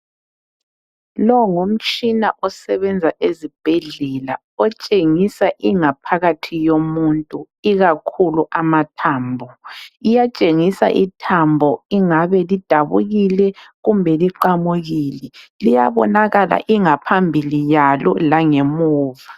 Lowu ngumtshina osebenza ezibhedlela otshengisa ingaphakathi yomuntu ikakhulu amathambo. Iyatshengisa ithambo ingabe lidabukile kumbe liqamukile. Liyabonakala ingaphambili yalo langemuva.